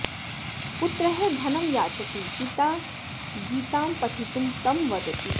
पुत्रः धनं याचति पिता गीतां पठितुं तं वदति